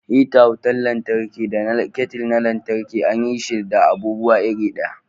Hita wutar lantarki da kettle na lantarki an yi shi da abubuwa iri ɗaya